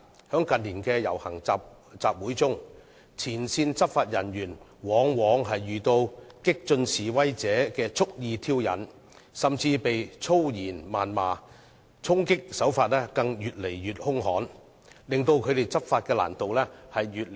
在近年的遊行集會中，前線執法人員往往遇到激進示威者的蓄意挑釁，甚至被粗言謾罵，衝擊手法更越來越兇悍，使他們執法的難度越來越大。